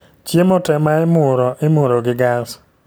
Chiemo te ma imuro imuro gi gas